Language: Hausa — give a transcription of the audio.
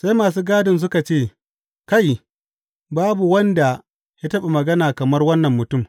Sai masu gadin suka ce, Kai, babu wanda ya taɓa magana kamar wannan mutum.